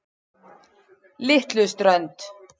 Litluströnd